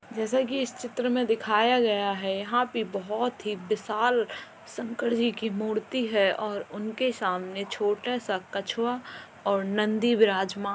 जैसा कि इस चित्र में दिखाया गया है यंहा पे बहोत ही विशाल शंकर जी की बड़ी सी मूर्ति है और उनके सामने छोटा सा कछुआ और नंदी विराजमान --